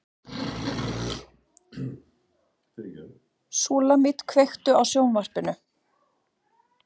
Súlamít, kveiktu á sjónvarpinu.